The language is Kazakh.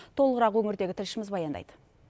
толығырақ өңірдегі тілшіміз баяндайды